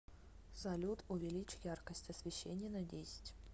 салют увеличь яркость освещения на десять